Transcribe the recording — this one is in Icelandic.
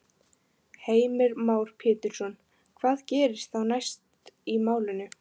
Heimir Már Pétursson: Hvað gerist þá næst í málinu?